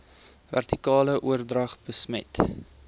vertikale oordrag besmet